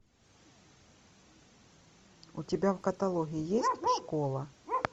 у тебя в каталоге есть школа